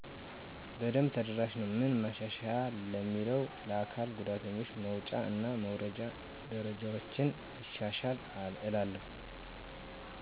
በደብ ተደራሽ ነወ። ምን ማሻሻያ ለሚለው ለአካል ጉዳተኛው መወጫ እና መውረጃ ደረጃወችን ቢሻሻል እላለው።